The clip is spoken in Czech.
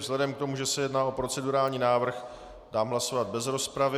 Vzhledem k tomu, že se jedná o procedurální návrh, dám hlasovat bez rozpravy.